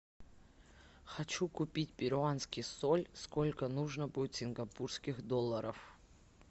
хочу купить перуанский соль сколько нужно будет сингапурских долларов